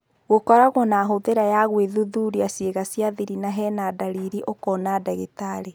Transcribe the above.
Gũkoragwo na hũthĩra ya gũĩthuthuria ciĩga cia-thiri na hena-ndariri ũkoona ndagitari.